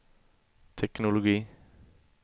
teknologi